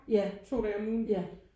Ja ja